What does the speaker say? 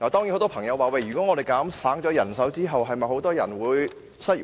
很多朋友說，減省人手後會否有很多人失業？